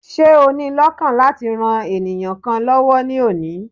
Ṣé o ni lọ́kàn láti ran ènìyàn kan lọ́wó ní òní?